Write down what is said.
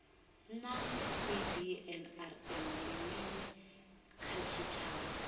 naa cbnrm ndi mini kha tshitshavha